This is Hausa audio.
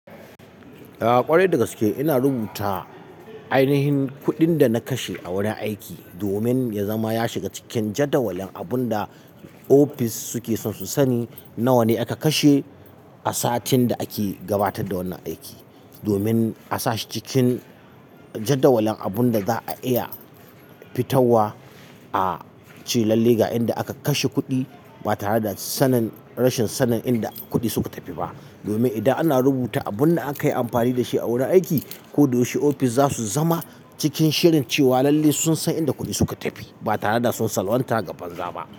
Ya ƙware daga suke ina rubuta ainihin kuɗin da na kashe a wurin aiki domin ya zama ya shiga cikin jadawalin abun da ofis suke son su sani nawane aka kashe a satin da ake gabatar da wannan aiki, domin a sa shi cikin jadawalin abun da za a iya fitowa a ce lalle ga inda aka kashe kuɗi ba tare da sanin rashin sanin inda kuɗi suka tafi ba. Domin idan ana rubuta abun da aka yi amfani da shi a wurin aiki, ku da wuce ofis za su zama cikin shirin cewa lalle sun san inda kuɗi suka tafi ba tare da sun salwanta gaban gaba.